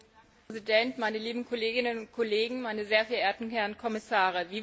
Herr Präsident, meine lieben Kolleginnen und Kollegen, meine sehr verehrten Herren Kommissare!